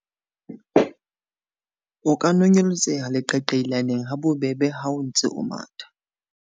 O ka nonyeletseha leqaqailaneng ha bobebe ha o ntse o matha.